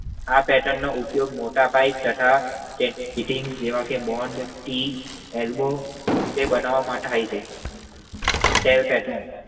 આ પેટનનો ઉપયોગ મોટા પાઇપ તથા ફિટિંગ બૉમ્બ ટી કે એલ્બો એ બનાવામાં થાય છે. સેરપેટેન